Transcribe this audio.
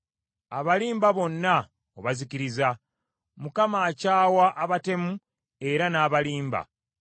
Abalimba bonna obazikiriza; Mukama akyawa abatemu era n’abalimba.